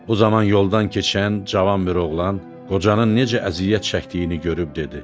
Bu zaman yoldan keçən cavan bir oğlan qocanın necə əziyyət çəkdiyini görüb dedi: